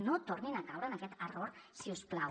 no tornin a caure en aquest error si us plau